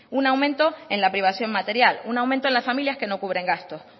un aumento en la privación material un aumento en las familias que no cubren gastos